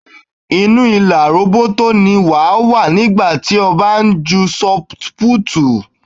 Inú ìlà róbótó ni wàá wà nígbà tí ó bá ń ju ṣọt púùtù.